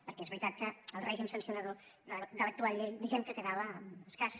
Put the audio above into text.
perquè és veritat que el règim sancionador de l’actual llei diguem que quedava escàs